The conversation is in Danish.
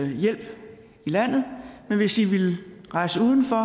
hjælp her i landet men at hvis de vil rejse uden for